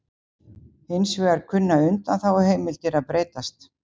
Hins vegar kunna undanþáguheimildir að breytast